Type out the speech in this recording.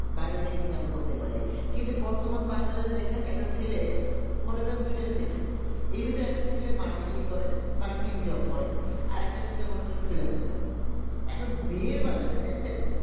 বাইরে থেকে income করতে পারে কিন্তু বর্তমান বাজারে দেখেন একটা ছেলে মনে করেন দুইটা ছেলে ইভেতে একটা ছেলে markatting করে markatting job করে আর একটা ছেলে ধরেন finalsing এখন বিয়ের বাজারে দেখেন